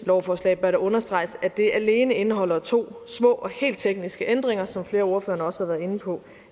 lovforslag bør det understreges at det alene indeholder to små og helt tekniske ændringer som flere af ordførerne også har været inde på